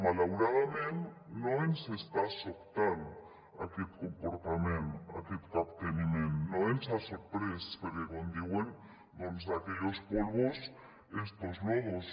malauradament no ens està sobtant aquest comportament aquest capteniment no ens ha sorprès perquè com diuen doncs de aquellos polvos estos lodos